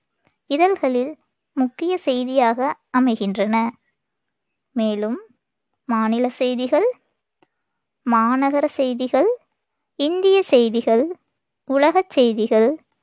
இதழ்களில் முக்கியச் செய்தியாக அமைகின்றன மேலும் மாநிலச் செய்திகள், மாநகரச் செய்திகள், இந்தியச் செய்திகள், உலகச் செய்திகள்,